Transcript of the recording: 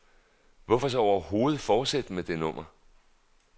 Hvorfor så overhovedet fortsætte med det nummer.